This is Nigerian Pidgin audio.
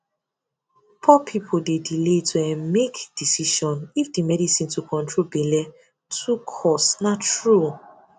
poor people dey delay to um make decision if the medicine to control belle too um cost na true